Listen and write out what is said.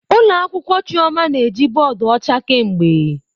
Ụlọ akwụkwọ "Chioma" na-eji bọọdụ ọcha kemgbe."